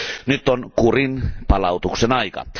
Nyt on kurinpalautuksen aika.